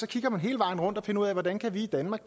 kigge hele vejen rundt og finde ud af hvordan vi i danmark